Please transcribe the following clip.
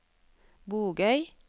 Bogøy